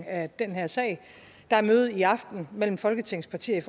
af den her sag der er møde i aften mellem folketingets partier